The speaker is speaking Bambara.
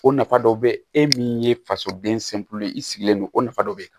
O nafa dɔ bɛ e min ye fasoden ye i sigilen don o nafa dɔ bɛ yen